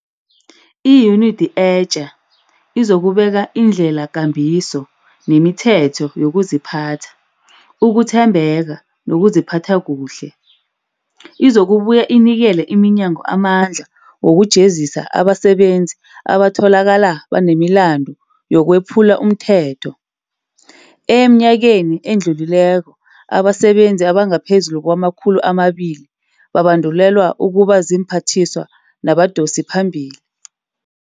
Iyunidi etja izokubeka indlelakambiso nemithetho yokuziphatha, ukuthembeka nokuziphatha kuhle. Izokubuya inikele iminyango amandla wokujezisa abasebenzi abatholakala banemilandu yokwephula umthetho. Emnyakeni odlulileko abasebenzi abangaphezulu kwamakhulu amabili babandulelwa ukuba ziimphathiswa nabadosiphambili.